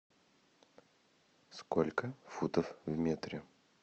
сколько футов в метре